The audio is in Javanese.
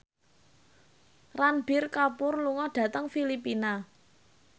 Ranbir Kapoor lunga dhateng Filipina